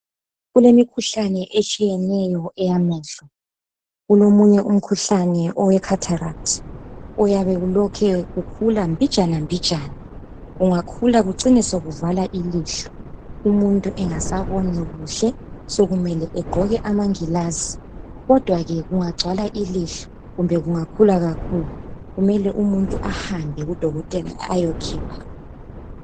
Kulemikhuhlane etshiyeneyo eyamehlo kulomunye umkhuhlane we khatharathi oyabe ulokhe ukhula mbijana mbijana ungakhula kucine sekuvala ilihlo umuntu engasaboni kuhle sokumele egqoke amangilazi kodwa ke kungakhula kakhulu kumele umuntu ahambe kudokoteka aye khipha